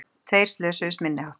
Tveir slösuðust minniháttar